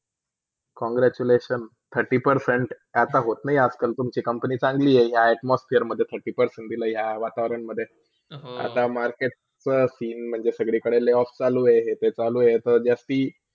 Congratulations! thirty percent आता होत नाय आज - कल तुमची Company चांगली हए. Atmosphere मेध Thirtypercent दिले या वातावरणमधे. आता Market चा seen म्हणजे संगळ्याकडे layoff चालू हाय हेते चालू आहे ता जास्ती